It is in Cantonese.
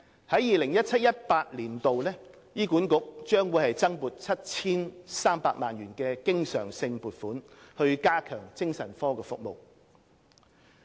在 2017-2018 年度，醫管局將獲增撥 7,300 萬元經常性撥款以加強精神科服務。